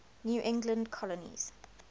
new england colonies